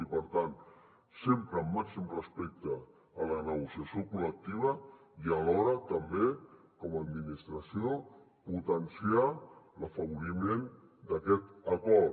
i per tant sempre amb màxim respecte a la negociació col·lectiva i alhora també com a administració potenciar l’afavoriment d’aquest acord